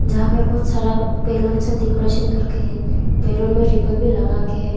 जहां पे बहुत सारा बलूंस से डेकोरेशन करके है बैलून में रिबन भी लगा के है।